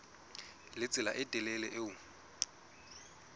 le tsela e telele eo